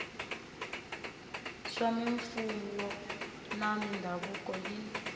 swa mimfuwo na mindhavuko yin